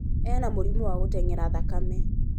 Ena mũrimũ wa gũteng'era thakame